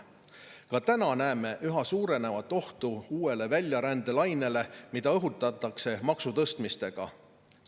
Ka täna näeme üha suurenevat ohtu uuele väljarändelainele, mida õhutatakse maksutõstmistega.